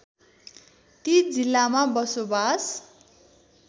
ती जिल्लामा बसोबास